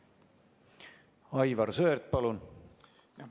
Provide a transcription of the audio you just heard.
Aivar Sõerd, palun!